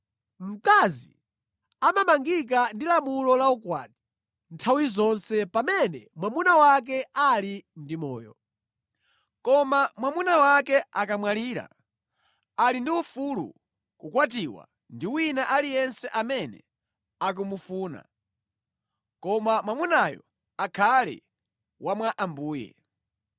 Mkazi amamangika ndi lamulo la ukwati nthawi zonse pamene mwamuna wake ali ndi moyo. Koma mwamuna wake akamwalira, ali ndi ufulu kukwatiwa ndi wina aliyense amene akumufuna, koma mwamunayo akhale wa mwa Ambuye.